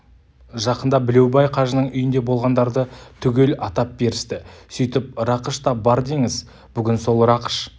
жақында білеубай қажының үйінде болғандарды түгел атап берісті сөйтіп рақыш та бар деңіз бүгін сол рақыш